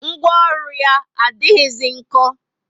Ngwaọrụ yá adighizi nko